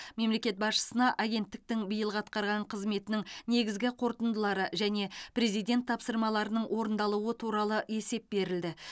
мемлекет басшысына агенттіктің биылғы атқарған қызметінің негізгі қорытындылары және президент тапсырмаларының орындалуы туралы есеп берілді